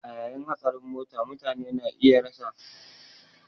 A yayin hatsarin mota mutane ne iya rasuwa take a lokacin